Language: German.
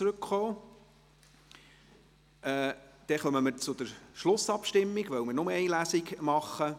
Dann kommen wir zur Schlussabstimmung, weil wir nur eine Lesung durchführen.